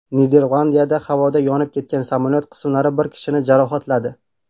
Niderlandiyada havoda yonib ketgan samolyot qismlari bir kishini jarohatladi.